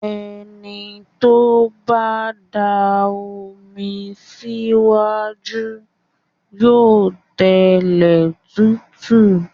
Ẹni tó bá da omi sí iwájú yóò tẹlẹ̀ tútù.